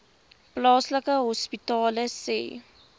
plaaslike hospitale sê